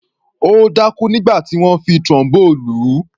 Ó dákú nígbà tí wọ́n fi Trombone lù ú.